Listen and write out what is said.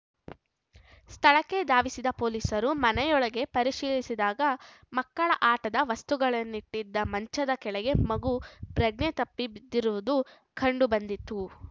ಸ್ಥಳಕ್ಕೆ ಧಾವಿಸಿದ ಪೊಲೀಸರು ಮನೆಯೊಳಗೆ ಪರಿಶೀಲಿಸಿದಾಗ ಮಕ್ಕಳ ಆಟದ ವಸ್ತುಗಳನ್ನಿಟ್ಟಿದ್ದ ಮಂಚದ ಕೆಳಗೆ ಮಗು ಪ್ರಜ್ಞೆ ತಪ್ಪಿ ಬಿದ್ದಿರುವುದು ಕಂಡು ಬಂದಿತ್ತು